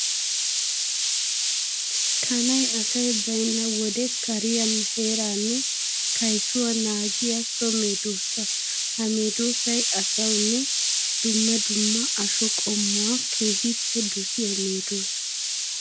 Kanay asay baynna wode kariya, heeranne kayssuwa naagiya so meedosa. Ha medosay ashuwanne dumma dumma asho qommuwa keehippe dosiya medosa.